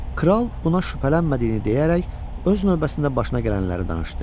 Kral buna şübhələnmədiyini deyərək öz növbəsində başına gələnləri danışdı.